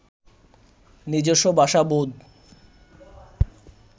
নিজস্ব ভাষা বোধ